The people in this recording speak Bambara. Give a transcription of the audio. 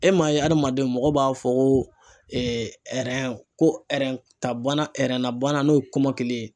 E m'a ye adamaden mɔgɔ b'a fɔ ko ko ta banna na bana n'o ye kɔmɔkili ye.